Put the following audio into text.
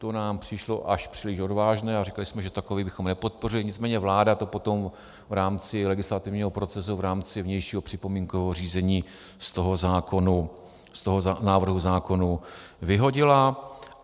To nám přišlo až příliš odvážné a říkali jsme, že takový bychom nepodpořili, nicméně vláda to potom v rámci legislativního procesu, v rámci vnějšího připomínkového řízení z toho návrhu zákona vyhodila.